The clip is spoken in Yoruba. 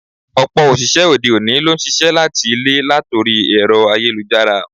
Ọ̀pọ̀ òṣìṣẹ́ òde-òní ló ń ṣiṣẹ́ láti ilé latori ẹ̀rọ ayélujára.